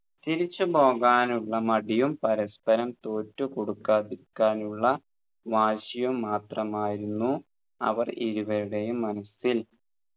തിരിച്ചു പോകാനുള്ള മടിയും പരസ്പരം തോറ്റുകൊടുക്കാതിരിക്കാനുള്ള വാശിയും മാത്രമായിരുന്നു അവർ ഇരുവരുടെയും മനസ്സിൽ